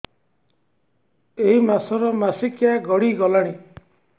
ଏଇ ମାସ ର ମାସିକିଆ ଗଡି ଗଲାଣି